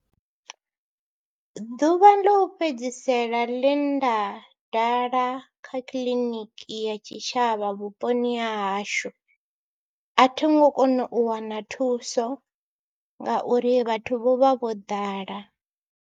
Ḓuvha ḽo u fhedzisela ḽe nda dala kha kiḽiniki ya tshitshavha vhuponi ha hashu a thi ngo kona u wana thuso ngauri vhathu vho vha vho ḓala.